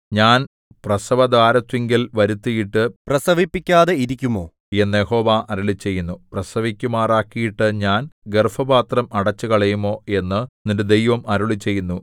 ഞാൻ പ്രസവദ്വാരത്തിങ്കൽ വരുത്തിയിട്ടു പ്രസവിപ്പിക്കാതെ ഇരിക്കുമോ എന്നു യഹോവ അരുളിച്ചെയ്യുന്നു പ്രസവിക്കുമാറാക്കിയിട്ടു ഞാൻ ഗർഭപാത്രം അടച്ചുകളയുമോ എന്നു നിന്റെ ദൈവം അരുളിച്ചെയ്യുന്നു